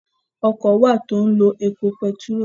Ọkọ wà tó ẹpo pẹtiró.